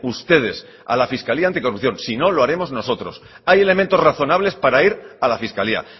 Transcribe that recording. ustedes a la fiscalía anticorrupción si no lo haremos nosotros hay elementos razonables para ir a la fiscalía